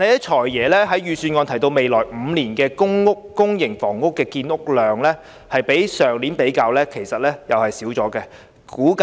"財爺"在預算案提到未來5年的公營房屋建屋量，今年的數目少於去年。